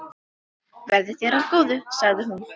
Verði þér að góðu, sagði hún.